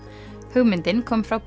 hugmyndin kom frá